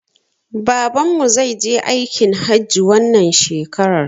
Babanmu zai je aikin hajji wannan shekarar